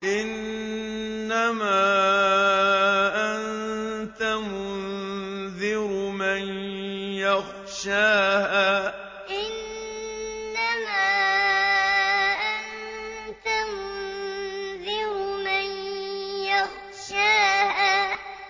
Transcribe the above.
إِنَّمَا أَنتَ مُنذِرُ مَن يَخْشَاهَا إِنَّمَا أَنتَ مُنذِرُ مَن يَخْشَاهَا